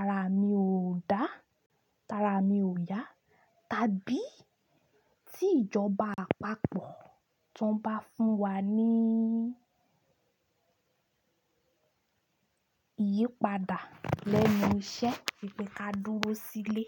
ara mi ò dá, ara mi ò yá tàbí tí ìjọba àpapọ̀ tan bá fún wa ní ìyípadà lẹ́nu iṣẹ́, pé kí á dúró sílé.